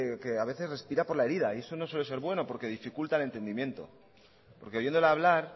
que respira por la herida y eso no suele ser bueno porque dificulta el entendimiento porque oyéndole hablar